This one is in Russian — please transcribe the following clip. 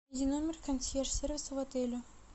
номер консьерж сервиса в отеле